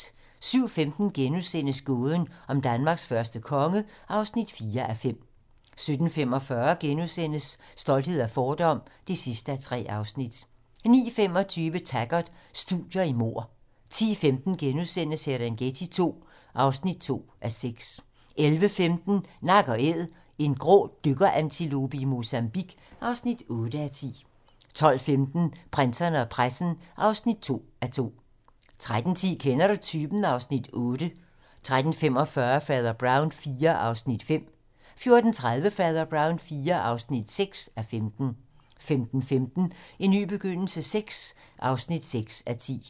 07:15: Gåden om Danmarks første konge (4:5)* 07:45: Stolthed og fordom (3:3)* 09:25: Taggart: Studier i mord 10:15: Serengeti II (2:6)* 11:15: Nak & Æd - en grå dykkerantilope i Mozambique (8:10) 12:15: Prinserne og pressen (2:2) 13:10: Kender du typen? (Afs. 8) 13:45: Fader Brown IV (5:15) 14:30: Fader Brown IV (6:15) 15:15: En ny begyndelse VI (6:10)